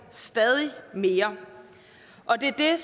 stadighed mere og det er